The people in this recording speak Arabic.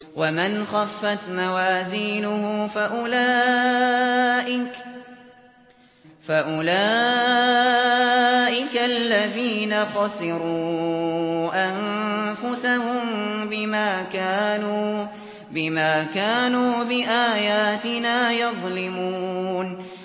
وَمَنْ خَفَّتْ مَوَازِينُهُ فَأُولَٰئِكَ الَّذِينَ خَسِرُوا أَنفُسَهُم بِمَا كَانُوا بِآيَاتِنَا يَظْلِمُونَ